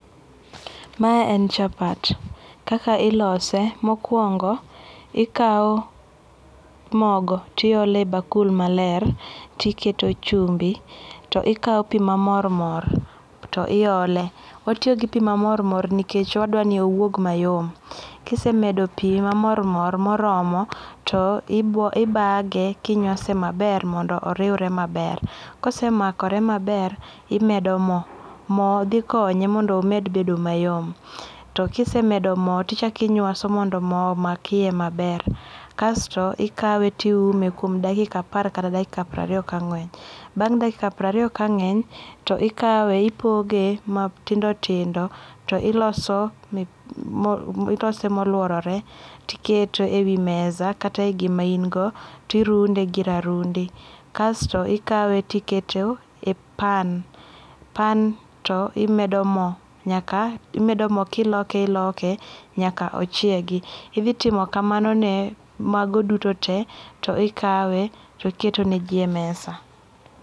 Mae en chapat. Kaka ilose, mokuongo ikaw mogo tiole bakul maler tiketo chumbi tikaw pii mamor mor to iole, watiyo gi pii mamor mor nikech wadwani obed mayom. Kisemedo pi mamor mor moromo to ibage kinywase maber mondo oriwre maber, kose makore maber imedo moo, moo dhi konye mondo omed bedo mayom. To kisemedo moo tichak inywaso mondo moo omak iye maber kasto ikawe tiume kuom dakika apar kata dakika prariyo ka ngeny. Bang dakika prariyo ka ngeny to ikawe ipoge matindo tindo to iloso, ilose moluorore tikete ei mesa kata gima in go tirunde gi rarundi kasto ikawe tikete e pan, pan to imedo moo nyaka, imedo moo kiloke iloke nyaka ochiegi. Idhi timo kamano ne mago duto tee to ikawe to iketo ne jii e mesa